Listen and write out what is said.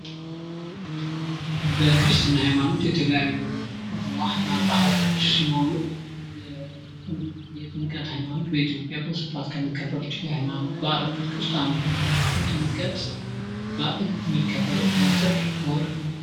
በክርስትና ሃይማኖት የተለያዩ ባህሎች ሲኖሩ የጥምቀት ሃይማኖት በኢትዮጵያ በስፋት ከሚከበሩት የሃይማኖት በአላቶች ውስጥ አንዱ ነው። የጥምቀት በአል የሚከበረው በጥር ወርህ ነው።